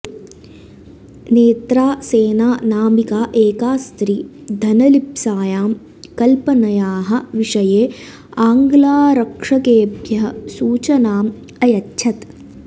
नेत्रा सेन नामिका एका स्त्री धनलिप्सायां कल्पनयाः विषये आङ्ग्लारक्षकेभ्यः सूचनाम् अयच्छत्